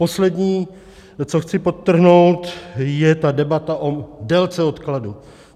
Poslední, co chci podtrhnout, je ta debata o délce odkladu.